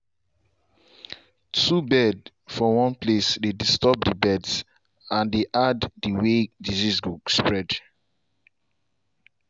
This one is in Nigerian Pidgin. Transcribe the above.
two bird for one place dey disturb the birds and e add the way disease go spread